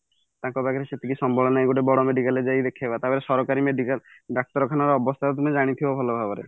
ତାଙ୍କ ପାଖରେ ସେତିକି ସମ୍ବଳ ନାହିଁ କି ଗୋଟେ ବଡ medical ରେ ଯାଇକି ଦେଖେଇବା ତାପରେ ସରକାରୀ medical ଡାକ୍ତରଖାନାର ଅବସ୍ତା ବି ତମେ ଜାଣିଥିବ ଭଲଭାବରେ